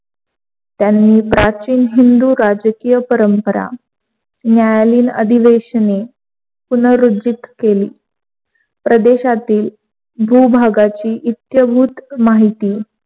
त्यांनी प्राचीन हिंदू राजकीय परंपरा, नायालीन अधिवेशने पुनर्रुज्जीत केली. प्रदेशातील भूभागाची इत्यभूत माहिती